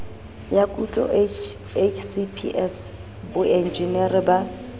ya kutlo hcps boenjinere ba